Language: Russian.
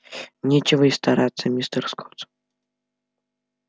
нечего и стараться мистер скотт